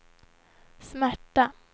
smärta